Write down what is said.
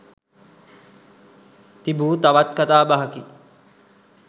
තිබූ තවත් කතාබහකි